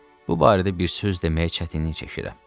Bu barədə bir söz deməyə çətinlik çəkirəm.